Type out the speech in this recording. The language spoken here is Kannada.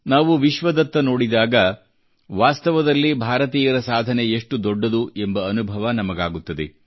ನಾವು ವಿಶ್ವದತ್ತ ನೋಡಿದಾಗ ವಾಸ್ತವದಲ್ಲಿ ಭಾರತೀಯರ ಸಾಧನೆ ಎಷ್ಟು ದೊಡ್ಡದು ಎಂಬ ಅನುಭವ ನಮಗಾಗುತ್ತದೆ